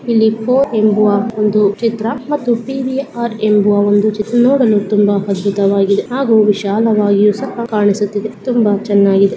ಇಲ್ಲಿ ಫೋರ್ ಎಂಬುವ ಒಂದು ಚಿತ್ರ ಮತ್ತು ಪಿ.ವಿ.ಆರ್ ಎನ್ನುವ ಒಂದು ಚಿತ್ರ ಮಾಡಲು ತುಂಬಾ ಸುಂದರವಾಗಿದೆ ಹಾಗೂ ವಿಶಾಲವಾಗಿ ಕಾಣಿಸುತ್ತಾ ಇದೆ ತುಂಬಾ ಚೆನ್ನಾಗಿದೆ.